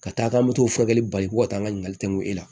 Ka taa k'an bɛ t'o furakɛli bali ko ka taa ngali tɛŋɛ e la